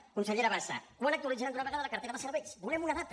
consellera bassa quan actualitzarà d’una vegada la cartera de serveis volem una data